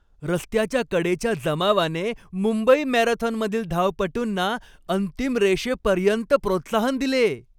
रस्त्याच्या कडेच्या जमावाने मुंबई मॅरेथॉनमधील धावपटूंना अंतिम रेषेपर्यंत प्रोत्साहन दिले.